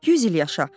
100 il yaşa.